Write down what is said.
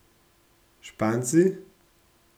Španci?